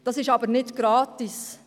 Diese sind aber nicht gratis.